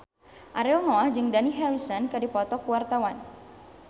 Ariel Noah jeung Dani Harrison keur dipoto ku wartawan